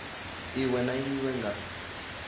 iwe na iwe i nga